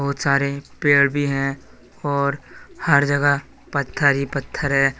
बहुत सारे पेड़ भी हैं और हर जगह पत्थर ही पत्थर हैं।